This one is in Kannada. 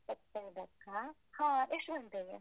ಇಪ್ಪತ್ತೈದಕ್ಕಾ? ಹ ಎಷ್ಟು ಗಂಟೆಗೆ?